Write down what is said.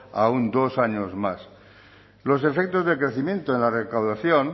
aún dos años más los efectos de crecimiento en la recaudación